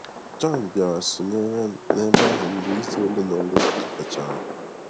Jọn bịara sonyerem n'ebe ahụ mgbe izu ole na ole kafechara.